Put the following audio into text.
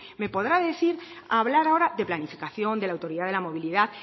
me podrá hablar ahora de planificación de la autoridad de la movilidad